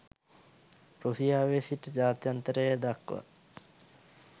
රුසියාවේ සිට ජාත්‍යන්තරය දක්වා